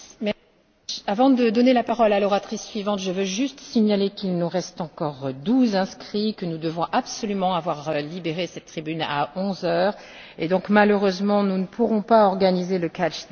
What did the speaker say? Avant de donner la parole à l'oratrice suivante, je veux juste signaler qu'il nous reste encore douze inscrits, que nous devons absolument avoir libéré cette tribune à onze heures et que donc, malheureusement, nous ne pourrons pas organiser les interventions à la demande.